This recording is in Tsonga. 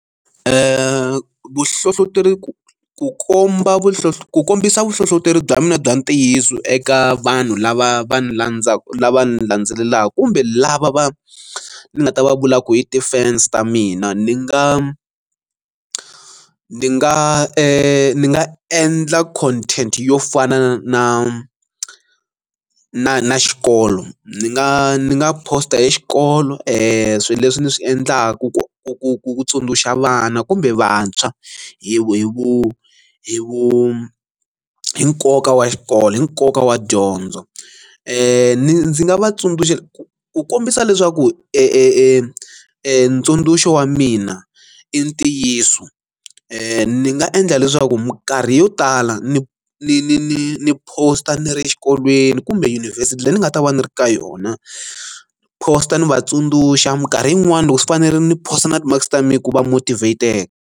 vuhlohloteri ku ku komba ku kombisa vuhlohloteri bya mina bya ntiyiso eka vanhu lava va landzaka lava ni landzelelaka kumbe lava va nga ta va vula ku hi defense ta mina ni nga ndzi nga ka ni nga endla content yo fana na na na na xikolo ni nga ni nga poster xikolo i swilo leswi ni swi endlaku ku ku ku ku tsundzuxa vana kumbe vantshwa hi vu hi vu hi nkoka wa xikolo hi nkoka wa dyondzo ni ndzi nga vatsundzuxa ku ku kombisa leswaku e ntsundzuxo wa mina i ntiyiso ni nga endla leswaku minkarhi yo tala ni ni ni ni ni post a ni ri exikolweni kumbe yunivhesiti leyi ni nga ta va ni ri ka yona post a ni vatsundzuxa minkarhi yin'wani loko swi fanele ni post a na ti mixed farming ku va motivater.